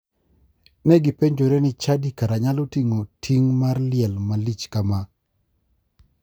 Ne gipenjore ni chadi kara nyalo ting'o ting mar liel malich kama.